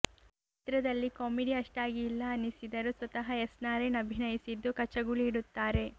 ಚಿತ್ರದಲ್ಲಿ ಕಾಮಿಡಿ ಅಷ್ಟಾಗಿ ಇಲ್ಲ ಅನ್ನಿಸಿದರೂ ಸ್ವತಃ ಎಸ್ ನಾರಾಯಣ್ ಅಭಿನಯಿಸಿದ್ದು ಕಚಗುಳಿ ಇಡುತ್ತಾರೆ